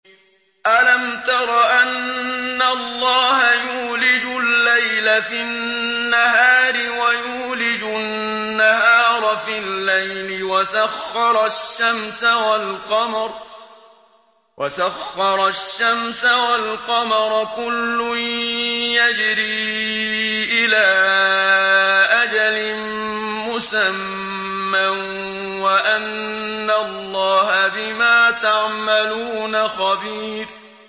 أَلَمْ تَرَ أَنَّ اللَّهَ يُولِجُ اللَّيْلَ فِي النَّهَارِ وَيُولِجُ النَّهَارَ فِي اللَّيْلِ وَسَخَّرَ الشَّمْسَ وَالْقَمَرَ كُلٌّ يَجْرِي إِلَىٰ أَجَلٍ مُّسَمًّى وَأَنَّ اللَّهَ بِمَا تَعْمَلُونَ خَبِيرٌ